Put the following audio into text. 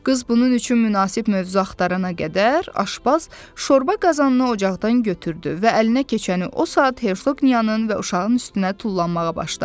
Qız bunun üçün münasib mövzu axtarana qədər, aşpaz şorba qazanını ocaqdan götürdü və əlinə keçəni o saat Hersoqniyanın və uşağın üstünə tullanmağa başladı.